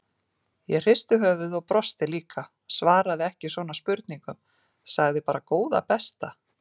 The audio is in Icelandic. Ég hristi höfuðið og brosti líka, svaraði ekki svona spurningum, sagði bara góða besta!